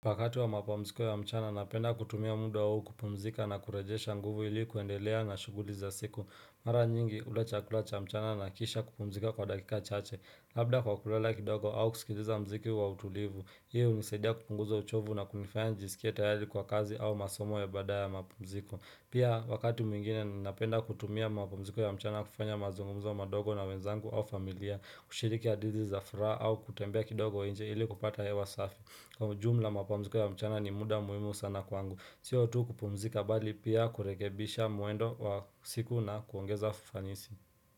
Wakati wa mapumziko ya mchana napenda kutumia muda huu kupumzika na kurejesha nguvu ili kuendelea na shuguli za siku. Mara nyingi hula chakula cha mchana na kisha kupumzika kwa dakika chache. Labda kwa kulala kidogo au kusikiliza mziki wa utulivu. Hii hunisaidia kupunguza uchovu na kunifaya njisikie tayari kwa kazi au masomo ya baadaye ya mapumziko. Pia wakati mwingine napenda kutumia mapumziko ya mchana kufanya mazungumzo madogo na wenzangu au familia. Ushiriki ya adizi za furaha au kutembea kidogo nje ili kupata hewa safi. Kwa ujumla mapumziko ya mchana ni muda muhimu sana kwangu, siyo tu kupumzika bali pia kurekebisha mwendo wa siku na kuongeza fanisi.